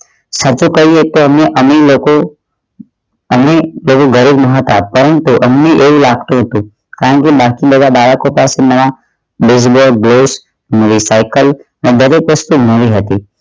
સાચું કહીએ તો અમે અમીર લોકો અમીર બરાબર હતા કારણ કે અમને એ લાગતું હતું કારણ કે બાકી બધા બાળકો પાસે બે સાઇકલ જબરજસ્ત મૂડી હતી